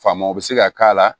Faamaw bɛ se ka k'a la